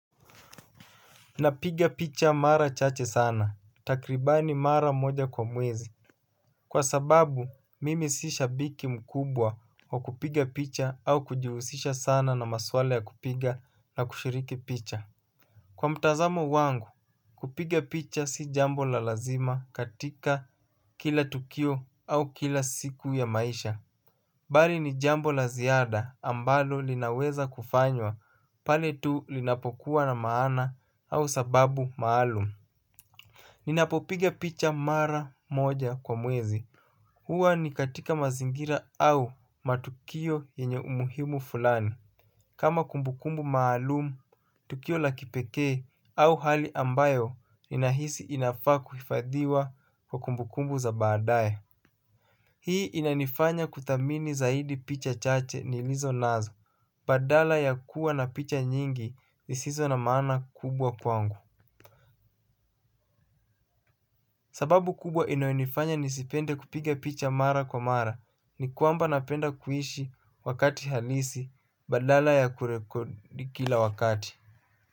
Napiga picha mara chache sana, takribani mara moja kwa mwezi. Kwa sababu mimi sishabiki mkubwa wa kupiga picha au kujihusisha saana na maswala ya kupiga na kushiriki picha. Kwa mtazamo wangu kupiga picha si jambo la lazima katika kila tukio au kila siku ya maisha. Bali ni jambo la ziada ambalo linaweza kufanywa pale tu linapokuwa na maana au sababu maalum. Ninapopiga picha mara moja kwa mwezi. Hua ni katika mazingira au matukio yenye umuhimu flani. Kama kumbukumbu maalum, tukio la kipekee au hali ambayo inahisi inafaa kuifadhiwa kwa kumbukumbu za baadae. Hii inanifanya kudhamini zaidi picha chache nilizo nazo. Badala ya kuwa na picha nyingi isizo na maana kubwa kwangu. Sababu kubwa inayonifanya nisipende kupiga picha mara kwa mara ni kwamba napenda kuishi wakati halisi badala ya kurekodi kila wakati.